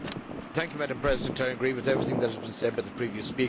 Madam President, I agree with everything that has been said by the previous speaker.